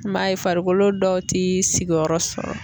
N m'a ye farikolo dɔw ti sigiyɔrɔ sɔrɔ